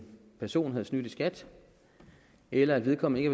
person havde snydt i skat eller at vedkommende ikke